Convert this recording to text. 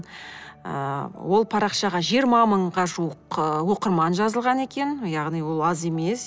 ыыы ол парақшаға жиырма мыңға жуық ы оқырман жазылған екен яғни ол аз емес